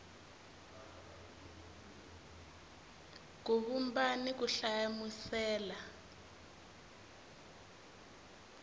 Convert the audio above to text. ku vumba ni ku hlamusela